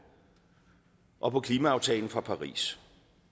og på klimaaftalen fra paris